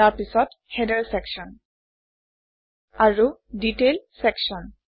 তাৰপিছত header section আৰু detail section